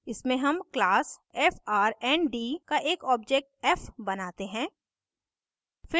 इसमें हम class frnd का एक object f बनाते हैं